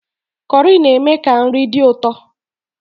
Kọrị na-eme ka nri dị ụtọ